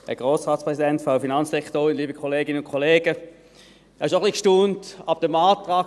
Ich habe schon etwas gestaunt über den Antrag.